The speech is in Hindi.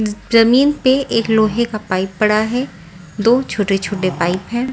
जमीन पे एक लोहे का पाइप पड़ा है दो छोटे-छोटे पाइप हैं ।